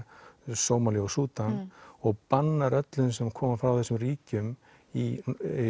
Sómalíu og Súdan og bannar öllum sem koma frá þessum ríkjum í